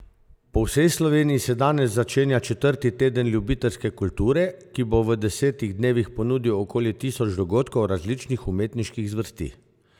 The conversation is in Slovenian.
Po vsej Sloveniji se danes začenja četrti Teden ljubiteljske kulture, ki bo v desetih dnevih ponudil okoli tisoč dogodkov različnih umetniških zvrsti.